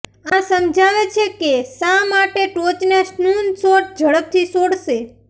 આ સમજાવે છે કે શા માટે ટોચના સ્નૂન શોટ ઝડપથી છોડશે